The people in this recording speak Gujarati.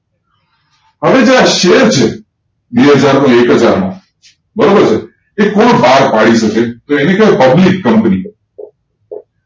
હવે જે આ શેર છે બે હજાર નો એકહજાર નો બરોબર છે એ કોણ બહાર પાડી શકે તો એને કહેવાય publiccompany